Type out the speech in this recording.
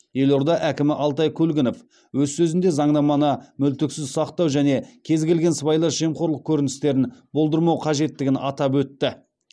елорда әкімі алтай көлгінов өз сөзінде заңнаманы мүлтіксіз сақтау және кез келген сыбайлас жемқорлық көріністерін болдырмау қажеттігін атап өтті